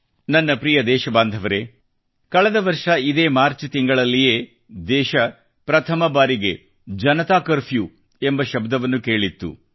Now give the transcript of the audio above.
ನನ್ನ ಪ್ರಿಯ ದೇಶಬಾಂಧವರೆ ಕಳೆದ ವರ್ಷ ಇದೇ ಮಾರ್ಚ್ ತಿಂಗಳಲ್ಲಿಯೇ ದೇಶ ಪ್ರಥಮ ಬಾರಿಗೆ ಜನತಾ ಕರ್ಫ್ಯೂ ಎಂಬ ಶಬ್ದವನ್ನು ಕೇಳಿತ್ತು